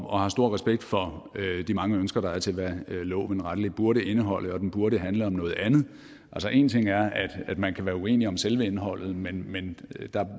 og har stor respekt for de mange ønsker til hvad loven rettelig burde indeholde og at den burde handle om noget andet altså en ting er at man kan være uenige om selve indholdet men men der